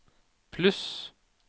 pluss